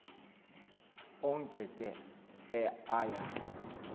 onke ke aya